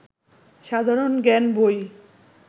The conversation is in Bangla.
সাধারণ জ্ঞান বই